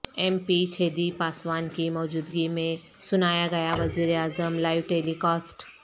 M P Chhedi Paswan کی موجودگی میں سنایاگیا وزیر اعظم لائیو ٹیلی کاسٹ